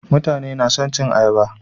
Mutane nason cin ayaba